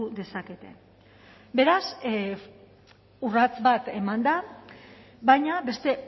dezakete beraz urrats bat eman da baina beste